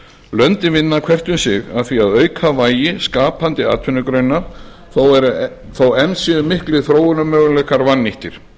löndin vinna hvert um sig að því að auka vægi skapandi atvinnugreina þó enn séu miklir þróunarmöguleikar vannýttir